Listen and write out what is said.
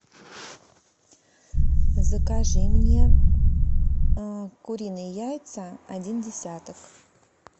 закажи мне куриные яйца один десяток